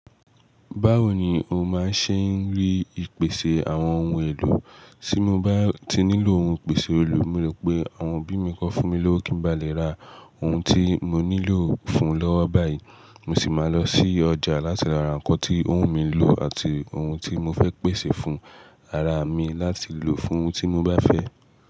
Báwo ni o máa ṣe ń rí ìpèsè àwọn ohun èlò? Tí mo bá ti nílò ohun ìpèsè òòlù, mo le pé àwọn obí mi kọ fún mi lówó kí n ba lè ra ohun tí mo nílò fún lọ́wọ́ báyìí, mo sì máa lọ sí ọjà láti lo ra nǹkan tí òhun mi lò àti ohun tí mo fẹ́ pèsè fún ara mi láti lò fún ohun tí mo bá fẹ́